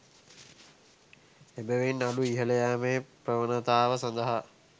එබැවින් නඩු ඉහළ යෑමේ ප්‍රවණතාව සඳහා